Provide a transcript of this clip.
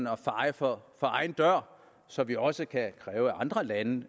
at feje for egen dør så vi også kan kræve at andre lande